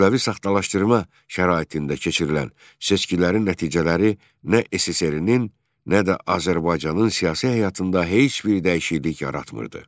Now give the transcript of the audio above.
Kütləvi saxtalaşdırma şəraitində keçirilən seçkilərin nəticələri nə SSRİ-nin, nə də Azərbaycanın siyasi həyatında heç bir dəyişiklik yaratmırdı.